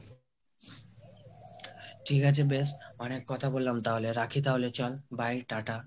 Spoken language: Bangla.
ঠিক আছে বেশ অনেক কথা বললাম , রাখি তাহলে চল, bye টা টা